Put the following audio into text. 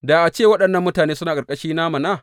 Da a ce waɗannan mutane suna a ƙarƙashina mana!